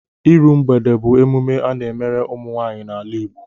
Iru mgbede bụ emume a na-emere ụmụnwaanyị n'ala Igbo